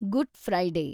good Friday